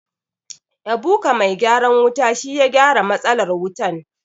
Ebuka mai gyaran wuta shi ya gyara matsalar wutan.